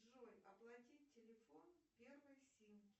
джой оплатить телефон первой симки